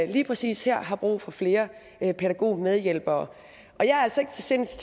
lige præcis her har brug for flere pædagogmedhjælpere og jeg er altså ikke til sinds